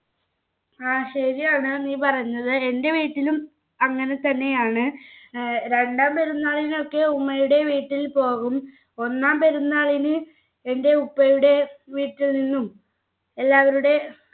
ആ ശെരിയാണ് നീ പറഞ്ഞത് എൻ്റെ വീട്ടിലും അങ്ങനെ തന്നെയാണ് ഏർ രണ്ടാം പെരുന്നാളിന് ഒക്കെ ഉമ്മയുടെ വീട്ടിൽ പോകും ഒന്നാം പെരുന്നാളിന് എൻ്റെ ഉപ്പയുടെ വീട്ടിൽ നിന്നും എല്ലാവരുടെ